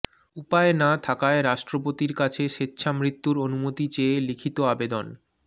উপায় না থাকায় রাষ্ট্রপতির কাছে স্বেচ্ছামৃত্যুর অনুমতি চেয়ে লিখিত আবেদন